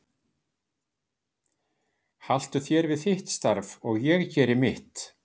Haltu þér við þitt starf og ég geri mitt.